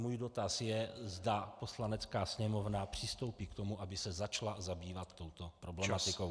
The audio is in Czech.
Můj dotaz je, zda Poslanecká sněmovna přistoupí k tomu, aby se začala zabývat touto problematikou.